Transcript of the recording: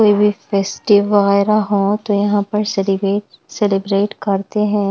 कोई भी फेस्टिव वगैरह हो तो यहाँ पर सेलिब्रेट सेलिब्रेट करते हैं।